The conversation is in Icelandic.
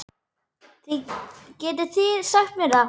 Getið þið sagt mér það?